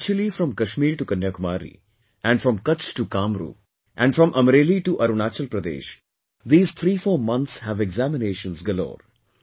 Actually from Kashmir to Kanyakumari and from Kutch to Kamrup and from Amreli to Arunachal Pradesh, these 34 months have examinations galore